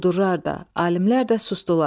Quldurlar da, alimlər də susdular.